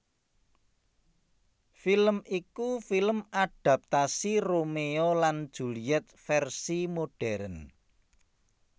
Film iku film adaptasi Romeo lan Juliet versi modern